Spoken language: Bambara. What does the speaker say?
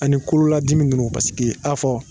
Ani kololadimi ninnu paseke ta fɔ